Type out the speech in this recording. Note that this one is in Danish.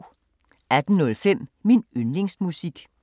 18:05: Min yndlingsmusik